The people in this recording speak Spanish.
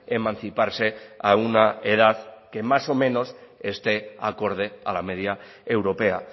emanciparse a una edad que más o menos esté acorde a la media europea